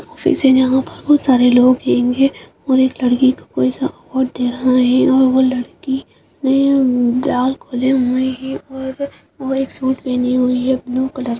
खुशी से यहाँ पर बहोत सारे लोग और एक लड़की को कोई सा अवार्ड दे रहा है और वह लड़की ने बाल खोले हुए हैं और और एक सूट पहनी हुई है ब्लू कलर --